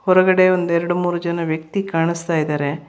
ಹೊರಗಡೆ ಒಂದೆರಡು ಮೂರು ಜನ ವ್ಯಕ್ತಿ ಕಾಣಿಸ್ತಾ ಇದಾರೆ.